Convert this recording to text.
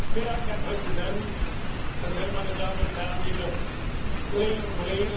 Herr Präsident, meine Damen und Herren, liebe Kolleginnen und Kollegen!